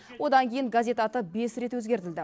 одан кейін газет аты бес рет өзгертілді